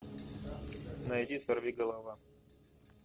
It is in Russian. найди сорвиголова